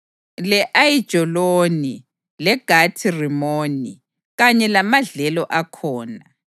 le-Ayijaloni leGathi-Rimoni, kanye lamadlelo akhona.